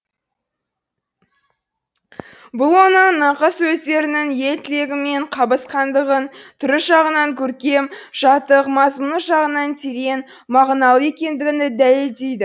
бұл оның нақыл сөздерінің ел тілегімен қабысқандығын түрі жағынан көркем жатық мазмұны жағынан терең мағыналы екендігін дәлелдейді